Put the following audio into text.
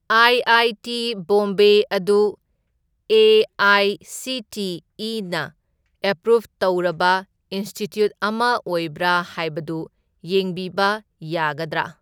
I I T Bombay ꯑꯗꯨ ꯑꯦ.ꯑꯥꯏ.ꯁꯤ.ꯇꯤ.ꯏ.ꯅ approve ꯇꯧꯔꯕ ꯏꯟꯁꯇꯤꯇ꯭ꯌꯨꯠ ꯑꯃ ꯑꯣꯏꯕ꯭ꯔꯥ ꯍꯥꯏꯕꯗꯨ ꯌꯦꯡꯕꯤꯕ ꯌꯥꯒꯗ꯭ꯔꯥ?